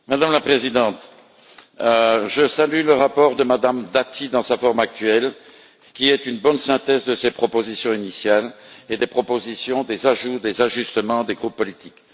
Madame la Présidente, je salue le rapport de Mme Dati dans sa forme actuelle, qui est une bonne synthèse de ses propositions initiales et des propositions, des ajouts, des ajustements des groupes politiques.